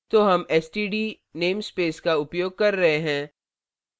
तो हम std namespace का उपयोग कर रहे हैं